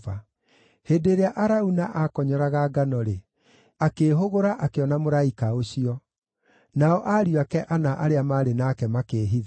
Hĩndĩ ĩrĩa Arauna aakonyoraga ngano-rĩ, akĩĩhũgũra akĩona mũraika ũcio; nao ariũ ake ana arĩa maarĩ nake makĩĩhitha.